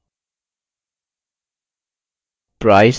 price